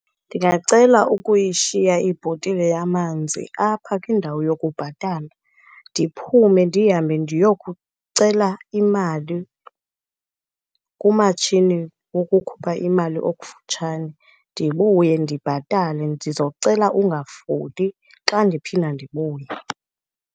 Ndingacela ukuyishiya ibhotile yamanzi apha kwindawo yokubhatala ndiphume ndihambe ndiyokucela imali kumatshini wokukhupha imali okufutshane, ndibuye ndibhatale. Ndizocela ungafoli xa ndiphinda ndibuya.